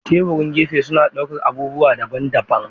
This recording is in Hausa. Teburan gefe suna ɗaukar abubuwa daban-daban.